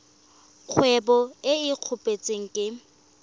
kgwebo e e kopetsweng e